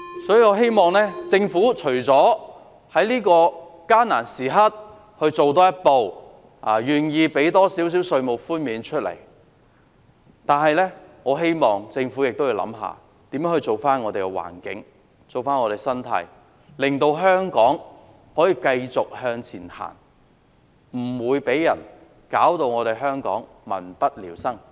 所以，我希望政府在這個艱難時刻，除了多做一步，給予市民多一點稅務寬免外，也會想想如何為我們的環境、我們的社會生態做些事，令香港可以繼續向前走，不會再被人弄至民不聊生。